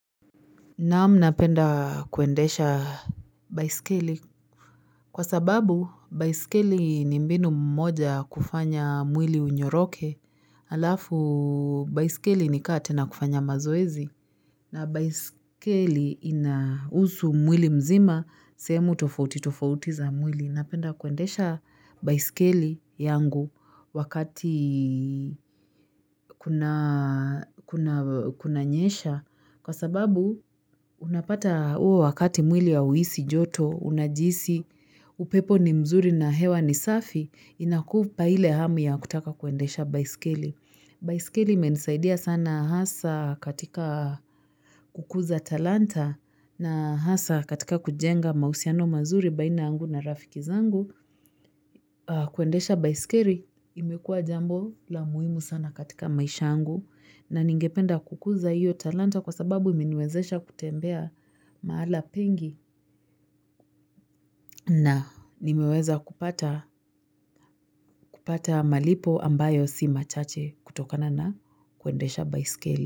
Naam napenda kuendesha baiskeli Kwa sababu, baiskeli ni mbinu moja ya kufanya mwili unyoroke halafu, baiskeli ni kaa tena kufanya mazoezi na baiskeli inahusu mwili mzima, sehemu tofauti tofauti za mwili. Napenda kuendesha baiskeli yangu wakati kuna nyesha. Kwa sababu Unapata huo wakati mwili hauhisi joto, unajihisi, upepo ni mzuri na hewa ni safi, inakupa ile hamu ya kutaka kuendesha baiskeli. Baiskeli imenisaidia sana hasa katika kukuza talanta na hasa katika kujenga mahusiano mazuri baina yangu na rafikizangu. Kuendesha baiskeli imekua jambo la muhimu sana katika maisha yangu na ningependa kukuza hiyo talanta kwa sababu imeniwezesha kutembea mahala pengi na nimeweza kupata malipo ambayo si machache kutokana na kuendesha baiskeli.